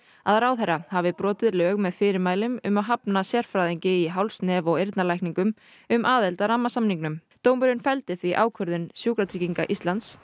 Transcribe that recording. að ráðherra hafi brotið lög með fyrirmælum um að hafna sérfræðingi í háls nef og eyrnalækningum um aðild að rammasamningnum dómurinn felldi því ákvörðun Sjúkratrygginga Íslands